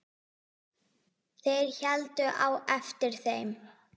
Þeir héldu á eftir þeim!